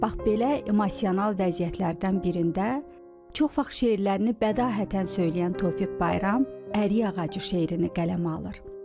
Bax belə emosional vəziyyətlərdən birində, çox vaxt şeirlərini bədahətən söyləyən Tofiq Bayram, ərik ağacı şeirini qələmə alır.